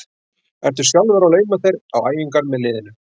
Ertu sjálfur að lauma þér á æfingar með liðinu?